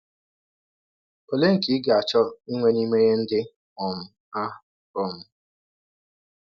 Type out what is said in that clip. Ọlee nke ị ga - achọ inwe n’ime ihe ndị um a um?